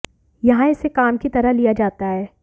यहां इसे काम की तरह लिया जाता है